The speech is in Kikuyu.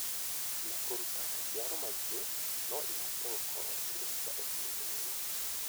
na kũruta maciaro maingĩ no ihote gũkorwo cirĩ cia ũguni mũnene.